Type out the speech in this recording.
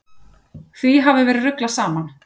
Því hafi verið ruglað saman.